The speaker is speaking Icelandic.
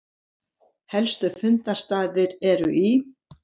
Helstu fundarstaðir eru í